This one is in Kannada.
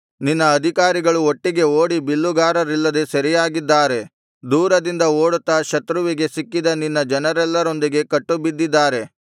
ನಿನ್ನ ಅಧಿಕಾರಿಗಳು ಒಟ್ಟಿಗೆ ಓಡಿ ಬಿಲ್ಲುಗಾರರಿಲ್ಲದೆ ಸೆರೆಯಾಗಿದ್ದಾರೆ ದೂರದಿಂದ ಓಡುತ್ತಾ ಶತ್ರುವಿಗೆ ಸಿಕ್ಕಿದ ನಿನ್ನ ಜನರೆಲ್ಲರೊಂದಿಗೆ ಕಟ್ಟುಬಿದ್ದಿದ್ದಾರೆ